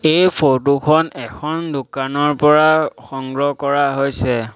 এই ফটোখন এখন দোকানৰ পৰা সংগ্ৰহ কৰা হৈছে।